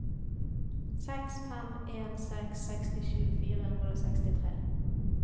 seks fem en seks sekstisju fire hundre og sekstitre